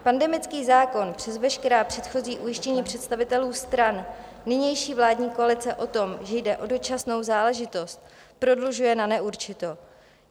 Pandemický zákon přes veškerá předchozí ujištění představitelů strany nynější vládní koalice o tom, že jde o dočasnou záležitost, prodlužuje na neurčito.